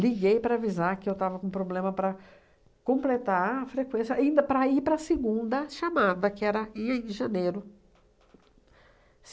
para avisar que eu estava com problema para completar a frequência, ainda para ir para a segunda chamada, que era em janeiro.